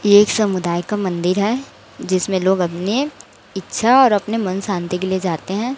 एक समुदाय का मंदिर है जिसमें लोग अपने इच्छा और अपने मन शांति के लिए जाते हैं।